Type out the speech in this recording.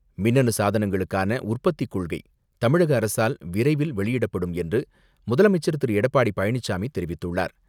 மின்னணு சாதனங்களுக்கான உற்பத்திக் கொள்கை தமிழக அரசால் விரைவில் வெளியிடப்படும் என்று முதலமைச்சர் திரு. எடப்பாடி பழனிசாமி தெரிவித்துள்ளார்